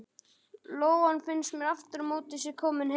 Lóan finnst mér aftur á móti að sé komin heim.